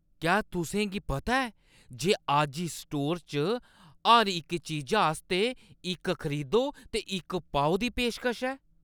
क्या तुसें गी पता ऐ जे अज्ज इस स्टोर च हर इक चीजा आस्तै इक खरीदो ते इक पाओ दी पेशकश ऐ?